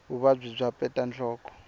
vuvabyi bya peta nhloko